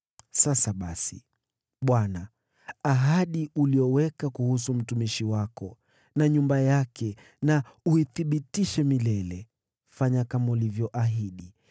“Sasa basi, Bwana ahadi uliyoweka kuhusu mtumishi wako na nyumba yake na uithibitishe milele. Fanya kama ulivyoahidi,